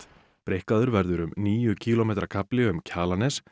breikkaður verður um níu kílómetra kafli um Kjalarnes